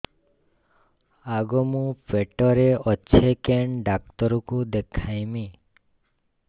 ଆଗୋ ମୁଁ ପେଟରେ ଅଛେ କେନ୍ ଡାକ୍ତର କୁ ଦେଖାମି